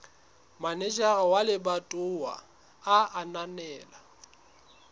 manejara wa lebatowa a ananela